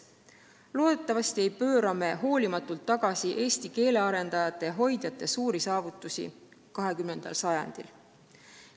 Loodetavasti ei pööra me hoolimatult tagasi eesti keele arendajate ja hoidjate suuri saavutusi 20. sajandil.